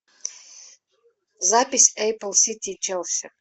запись апл сити челси